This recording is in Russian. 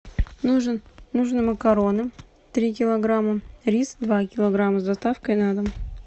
нужны макароны три килограмма рис два килограмма с доставкой на дом